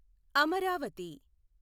Amaravati